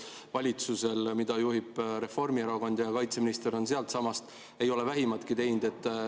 Valitsus, mida juhib Reformierakond, ja kaitseminister on sealtsamast, ei ole vähimatki teinud.